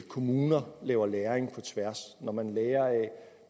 kommuner laver læring på tværs når man lærer af